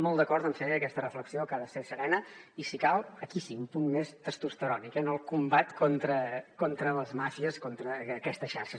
molt d’acord amb fer aquesta reflexió que ha de ser serena i si cal aquí sí un punt més testosterònic el combat contra les màfies contra aquestes xarxes